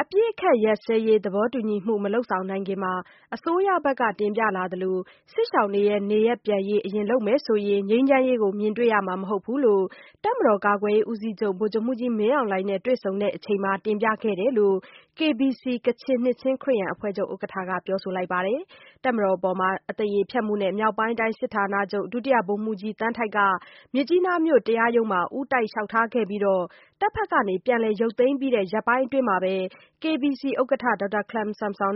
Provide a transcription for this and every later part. အပစ်အခတ်ရပ်စဲရေး သဘောတူညီကို မလုပ်ဆောင်နိုင်ခင် အစိုးရဘက်က တင်ပြလာသလို စစ်ရှောင်တွေနေရပ်ပြန်ရေးကို အရင်လုပ်မယ်ဆိုရင် ငြိမ်းချမ်းရေးကို မြင်တွေ့ရမှာ မဟုတ်ဘူးလို့ တပ်မတော်ကာကွယ်ရေးဦးစီးချုပ် ဗိုလ်ချုပ်မှူးကြီး မင်းအောင်လှိုင်နဲ့ တွေ့ဆုံစဉ်တင်ပြခဲ့တယ်လို့ KBC ကချင်နှစ်ချင်း ခရစ်ယာန်အဖွဲ့ချုပ် ဥက္ကဋ္ဌက ပြောပါတယ်။ တပ်မတော်အပေါ် အသရေဖျက်မှုနဲ့ မြောက်ပိုင်းတိုင်းစစ်ဌာနချုပ် ဒုတိယ ဗိုလ်မှူးကြီး သန်းထိုက်က မြစ်ကြီးနားမြို့ တရားရုံးမှာ ဦးတိုက်လျှောက်ထားခဲ့တာကို တပ်မတော်ဘက်က ပြန်လည်ရုပ်သိမ်းပြီး ရက်ပိုင်းအတွင်းမှာဘဲ KBC ဥက္ကဋ္ဌနဲ့ ဗို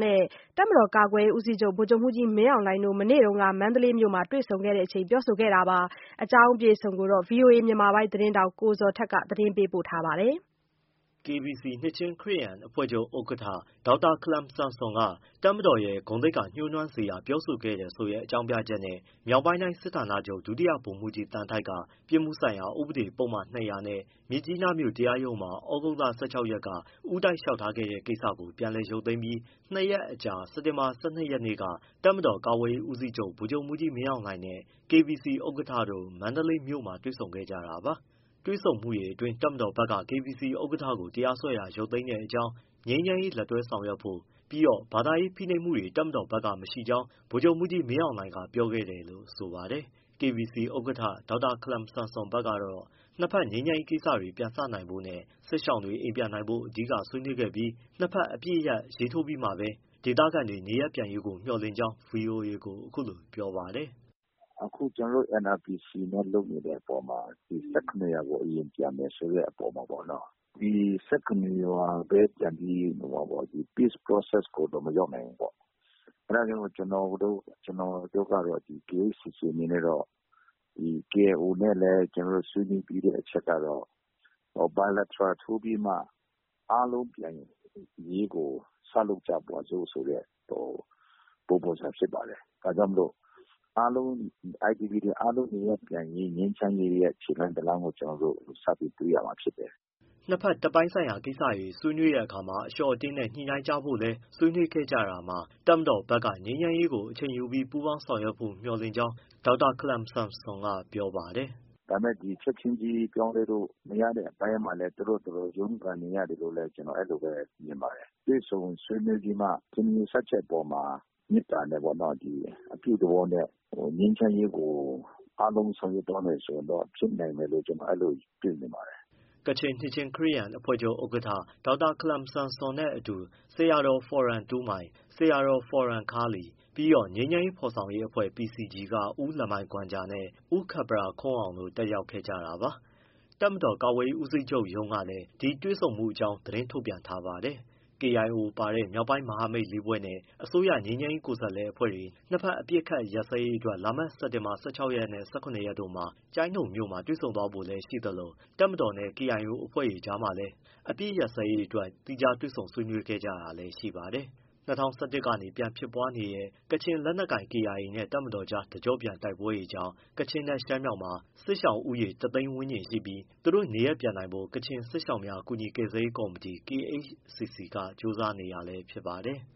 လ်ချုပ်မှူးကြီး မင်းအောင်လှိုင်တို့ မနေ့က မန္တလေးမြို့မှာ တွေ့ဆုံခဲ့ကြတာပါ။ ဒီအကြောင်း ဗွီအိုအေမြန်မာပိုင်းသတင်းထောက် ကိုဇော်ထက် မေးမြန်းပေးပို့ထားပါတယ်။ KBC ကချင်နှစ်ချင်း ခရစ်ယာန်အဖွဲ့ချုပ်ဥက္ကဋ္ဌ ခလမ်ဆန်ဆွမ်အနေနဲ့ တပ်မတော်ရဲ့ ဂုဏ်သိက္ခာညိုးနွမ်းစေတဲ့ ပြောဆိုခဲ့တယ်ဆိုတဲ့ အကြောင်းပြချက်နဲ့ မြောက်ပိုင်းတိုင်းစစ်ဌာနချုပ် ဒုတိယ ဗိုလ်မှူးကြီး သန်းထိုက်က ပြစ်မှုဆိုင်ရာ ဥပဒေပုဒ်မ ၂၀၀ နဲ့ မြစ်ကြီးနားမြို့ တရားရုံးမှာ သြဂုတ်လ ၁၆ ရက်နေ့က ဦးတိုက် လျှောက်ထားခဲ့တဲ့ ကိစ္စကို ပြန်လည် ရုပ်သိမ်းပြီး ၂ ရက်အကြာ စက်တင်ဘာ ၁၂ ရက်နေ့က တပ်မတော်ကာကွယ်ရေးဦးစီးချုပ် ဗိုလ်ချုပ်မှူးကြီး မင်းအောင်လှိုင်နဲ့ KBC ဥက္ကဋ္ဌတို့ မန္တလေးမြို့မှာ တွေ့ဆုံခဲ့ကြတာပါ။ တွေ့ဆုံမှုအတွင်း တပ်မတော်ဘက် KBC ဥက္ကဋ္ဌကိုတရားစွဲတာ ရုပ်သိမ်းတဲ့အကြောင်း၊ ငြိမ်းချမ်းရေးလက်တွဲဆောင်ရွက်ဖို့ ပြီးတော့ ဘာသာရေးဖိနှိပ်မှုတွေ တပ်မတော်ဘက်က မရှိကြောင်း ဗိုလ်ချုပ်မှူးကြီး မင်းအောင်လှိုင်က ပြောခဲ့တယ်လို့ ဆိုပါတယ်။ KBC ဥက္ကဋ္ဌ ဒေါက်တာခလမ်ဆန်ဆွမ် ဘက်ကတော့ နှစ်ဘက် ငြိမ်းချမ်းရေးကိစ္စတွေ ပြန်စနိုင်ဖို့နဲ့ စစ်ရှောင်တွေ အိမ်ပြန်နိုင်ဖို့ အဓိကဆွေးနွေးခဲ့ပြီး နှစ်ဘက် အပစ်ရပ်ရေးထိုးပြီးမှပဲ ဒေသခံတွေ နေရပ်ပြန်ရေးကို မျှော်လင့်ကြောင်း ဗွီအိုအေကို အခုလိုပြောပါတယ်။ “အခုကျနော်တို့နဲ့ NRPC နဲ့လုပ်နေတဲ့အပေါ်မှာ ၁၇ရွာကို အရင်ပြန်မယ်ဆိုတဲ့အပေါ်မှာ ဒီ ၁၇ ရွာပဲပြန်ပြီး Peace Process ကိုတော့ မရောက်နိုင်ဘူးပေါ့။ အဲဒါကြောင့်မို့ ကျနော်တို့ကတော့ KHCC အနေနဲ့ကတော့ KIO နဲ့လည်း ဆွေးနွေးပြီးတဲ့ အချက်ကတော့ bilateral ထိုးပြီးမှ အားလုံးပြန်ရေးကို စလုပ်ကြပါစို့ ဆိုတဲ့ ပုံစံဖြစ်ပါတယ်။ ဒါကြောင့် IDP တွေ အားလုံးနေရပ်ပြန်ရေးက ငြိမ်းချမ်းရေးရဲ့ ခြေလှမ်းတရပ်ကို ကျနော်တို့ စပြီးတွေ့ရမှာ ဖြစ်တယ်။” နှစ်ဘက် တပ်ပိုင်းဆိုင်ရာ ကိစ္စတွေ ဆွေးနွေးတဲ့အခါမှာ အလျှော့အတင်းနဲ့ ညှိနှိုင်းကြဖို့လည်း ဆွေးနွေးခဲ့ကြတာမှာ တပ်မတော်ဘက်ကလည်း ငြိမ်းချမ်းရေးကို အချိန်ယူပြီး ပူးပေါင်းဆောင်ရွက်ဖို့ မျှော်လင့်ကြောင်း ဒေါက်တာခလမ်ဆန်ဆွမ်က ပြောပါတယ်။ “ဒါပေမဲ့ ချက်ချင်းကြီး ပြောင်းလဲဖို့ မရတဲ့အပိုင်းမှာလည်း သူတို့ဘာသာသူတို့ ရုန်းကန်နေရတယ်လို့လည်း ကျနော် အဲလိုမြင်ပါတယ်။ တွေ့ဆုံဆွေးနွေးပြီးမှ ထင်မြင် ယူဆချက်အပေါ်မှာ မေတ္တာနဲ့ပေါ့။ အပြုသဘောနဲ့ ငြိမ်းချမ်းရေးကို အားလုံးဆောင်ရွက်သွားမယ် ဆိုရင်တော့ ဖြစ်နိုင်မယ်လို့ ကျနော် အဲလို မြင်ပါတယ်။” ကချင်နှစ်ချင်းခရစ်ယာန်အဖွဲ့ချုပ် ဥက္ကဋ္ဌ ဒေါက်တာ ခလမ်ဆန်ဆွမ်နဲ့ အတူ ဆရာတော် ဖော်ရော်တူးမိုင်၊ ဆရာ ဖော်ယမ်ခါးလီ ပြီးတော့ ငြိမ်းချမ်းရေး ဖော်ဆောင်ရေးအဖွဲ့ PCG က ဦးလမိုင်ဂွမ်ဂျာနဲ့ ဦးခပ်ပရာခွန်းအောင်တို့ တက်ရောက်ခဲ့တာပါ။ တပ်မတော်ကာကွယ်ရေး ဦးစီးချုပ်ရုံးကလည်း ဒီတွေ့ဆုံမှုအကြောင်း သတင်း ထုတ်ပြန်ထားပါတယ်။ KIO ပါတဲ့ မြောက်ပိုင်းမဟာမိတ်လေးဖွဲ့နဲ့ အစိုးရ ငြိမ်းချမ်းရေးကိုယ်စားလှယ်အဖွဲ့တွေ နှစ်ဘက် အပစ်အခတ်ရပ်စဲရေးအတွက် လာမယ့်စက်တင်ဘာ ၁၆ နဲ့ ၁၇ ရက်တို့မှာ ကျိုင်းတုံမြို့မှာ တွေ့ဆုံ ဆွေးနွေး ဖို့နေရှိသလို တပ်မတော်နဲ့ KIO အဖွဲ့တို့အကြားမှာလည်း အပစ်အခတ်ရပ်စဲရေးအတွက် သီးခြား တွေ့ဆုံ ဆွေးနွေးတာတွေ ရှိခဲ့ပါတယ်။ ၂၀၁၁ ကနေ ပြန်ဖြစ်ပွားနေတဲ့ ကချင်လက်နက်ကိုင် KIA နဲ့ တပ်မတော်ကြား တကျော့ပြန် တိုက်ပွဲတွေကြောင့် ကချင်နဲ့ ရှမ်းမြောက်မှာ စစ်ရှောင်ဦးရေ တ သိန်းဝန်းကျင်ရှိပြီး သူတို့နေရပ်ပြန်နိုင်ဖို့ ကချင်စစ်ရှောင်များ ကူညီကယ်ဆယ်ရေး ကော်မတီ KHCC က ကြိုးစားနေတာလည်း ဖြစ်ပါတယ်။